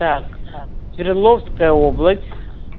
так свердловская область